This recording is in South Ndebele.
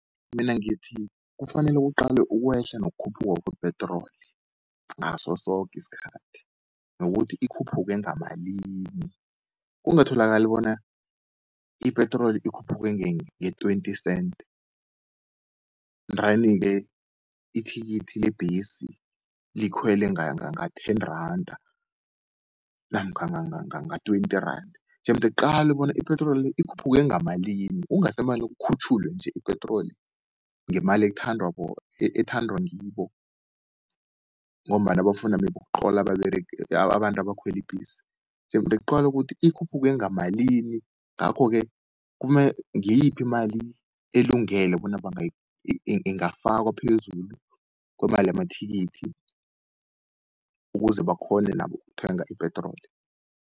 Mina ngithi kufanele kuqalwe ukwehla kokhuphuka kwe petrol ngasosoke isikhathi, nokuthi ikhuphuke ngamalimi. Kungatholakali bona ipetrol ikhuphuke nge-twenty-cent ndrani-ke, ithikithi lebhesi likhwele nga-ten-randa namkha nga-twenty-randa. Jemde kuqalwe bona ipetrol le, ikhuphuke ngamalimi kungasemane kukhutjhulwe nje ipetrol ngemali ethandwa ngibo, ngombana bafuna maybe ukuqhola abantu abakhwel ibhesi. Jemde kuqalwe ukuthi ikhuphuke ngamalimi. Ngakho-ke ngiyiphi imali elungele bona ingafakwa phezulu kwemali yamathikithi ukuze bakghone nabo ukuthenga ipetrol.